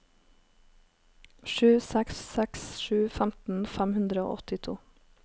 sju seks seks sju femten fem hundre og åttito